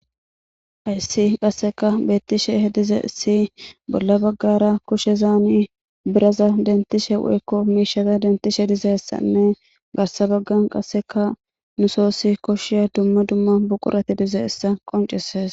Ayssi qasseka beettishe hedize si bolla baggara kushe zaani biraza dentishe weykko miishata dentishe dizessanne garsa baggan qasseka nu soossi koshiya dumma dumma buqurati dize issa qonceses.